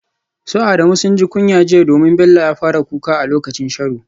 Su Adamu sun ji kunyar jiya domin Bello ya fara kuka a lokacin sharo.